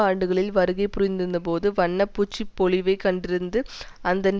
ஆண்டுகளில் வருகை புரிந்திருந்தபோது வண்ண பூச்சுப் பொலிவைக் கண்டிருந்தது அண்தன்